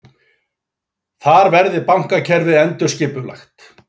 Þar verði bankakerfið endurskipulagt